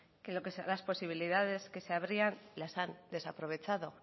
que las posibilidades que se abrían las han desaprovechado